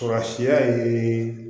Surasiya ye